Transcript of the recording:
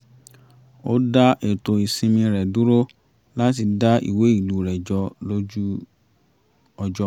ó dá ètò ìsinmi rẹ̀ dúró láti dá ìwé ìlú rẹ̀ jọ lójú ọjọ́